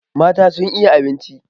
Mata sun iya abinci.